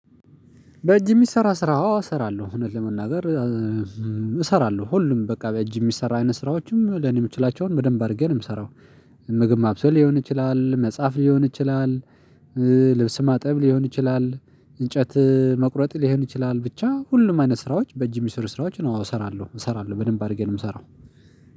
በእጅ የሚሰራ ስራ አሰራለሁ እውነት ለመናገር እሰራለሁ ሁሉም በቃ በእጅ የሚሰራ አይነት ስራዎችም ለምን የምችላቸውን በደንብ አድርጌ ነው የምሰራው። ምግብ ማብሰል ሊሆን ይችላል መጻፍ ሊሆን ይችላል። ልብስ ማጠብ ሊሆን ይችላል እንጨት መቁረጥ ሊሆን ይችላል ብቻ ሁሉም አይነት ስራዎች በእጅ የሚሰሩ ስራዎች ነው። አው እሰራለሁ እሰራለሁ በደንብ አድርጌ ነው ምሰራው